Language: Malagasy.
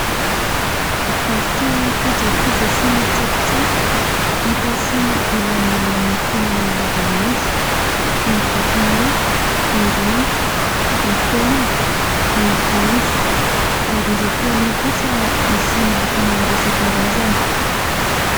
Varotra kojakoja sy tsakitsaky hita sy ilain'ny olona amin'ny fiainana andavan'andro. Ny vatomany, ny rano, ny penina, ny voanjo. Ary ireo penina kosa misy loko maro isa-karazany.